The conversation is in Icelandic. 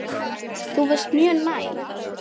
Þú varst mjög næm.